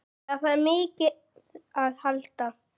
Það þarf mikið aðhald.